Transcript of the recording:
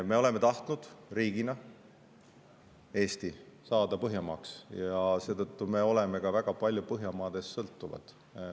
Me oleme tahtnud riigina, et Eesti saaks Põhjamaaks, ja seetõttu sõltume ka väga palju Põhjamaadest.